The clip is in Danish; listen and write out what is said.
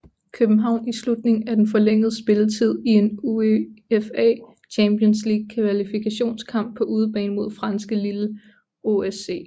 København i slutningen af den forlængede spilletid i en UEFA Champions League kvalifikationskamp på udebane mod franske Lille OSC